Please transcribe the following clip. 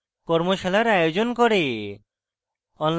কর্মশালার আয়োজন করে